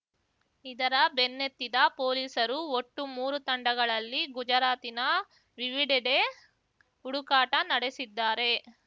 ಇದರ ಬೆನ್ನತ್ತಿದ ಪೊಲೀಸರು ಒಟ್ಟು ಮೂರೂ ತಂಡಗಳಲ್ಲಿ ಗುಜರಾತಿನ ವಿವಿಡೆಡೆ ಹುಡುಕಾಟ ನಡೆಸಿದ್ದಾರೆ